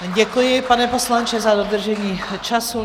Děkuji, pane poslanče, za dodržení času.